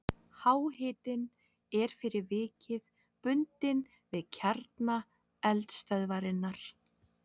Háhitinn er fyrir vikið bundinn við kjarna eldstöðvarinnar.